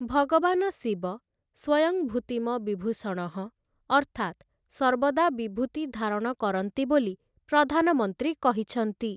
ଭଗବାନ ଶିବ "ସ୍ୱୟଂ ଭୂତିମ ବିଭୂଷଣଃ", ଅର୍ଥାତ୍‌ ସର୍ବଦା ବିଭୂତି ଧାରଣ କରନ୍ତି ବୋଲି ପ୍ରଧାନମନ୍ତ୍ରୀ କହିଛନ୍ତି ।